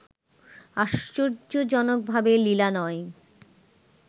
আশ্চর্যজনকভাবে লীলা নয়